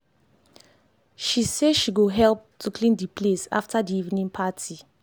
she say she go help to clean the place after the evening party